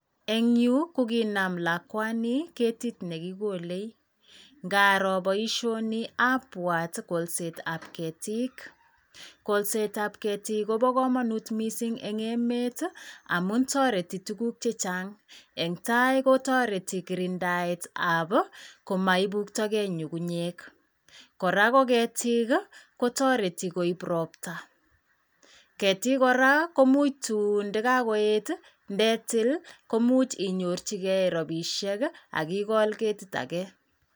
Eng yu koginam lakwani ketit ne kigolei. Ngaroo boisioni abwat kolsetab ketik. Kolsetab ketik kobo kamanut mising eng emet ii amun toreti tuguk che chang. Eng tai kotoreti kurindaetab komaibuktagei kungunyek. Kora ko ketik ii, kotoreti koib ropta. Ketik kora tun ndagagoet ii ndetil koimuch inyorchige ropisiek ii ak igol ketit age.